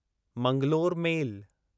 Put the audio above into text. Mangalore मेल